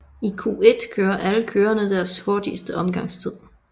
I Q1 kører alle kørerne deres hurtigste omgangstid